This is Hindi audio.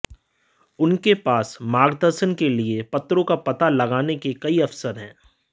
उनके पास मार्गदर्शन के लिए पत्रों का पता लगाने के कई अवसर हैं